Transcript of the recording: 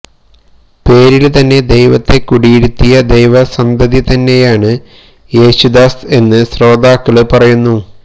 പേരില് തന്നെ ദൈവത്തെ കുടിയിരുത്തിയ ദൈവസന്തതി തന്നെയാണ് ശേശുദാസ് എന്ന് സ്രോതാക്കള് പറയുന്നു